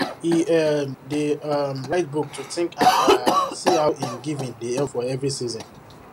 he um dey um write book to think and um see how him giving dey help for every season